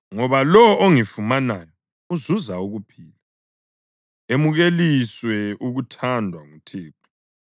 Ngoba lowo ongifumanayo uzuza ukuphila emukeliswe ukuthandwa nguThixo.